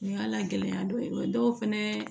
Ni y'ala gɛlɛya dɔ ye dɔw fɛnɛ